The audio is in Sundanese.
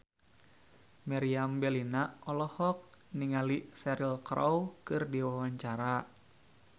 Meriam Bellina olohok ningali Cheryl Crow keur diwawancara